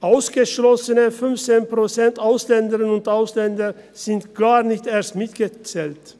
Ausgeschlossene 15 Prozent Ausländerinnen und Ausländer sind gar nicht erst mitgezählt.